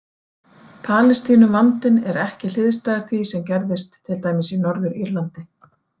Palestínuvandinn er ekki hliðstæður því sem gerðist til dæmis í Norður- Írlandi.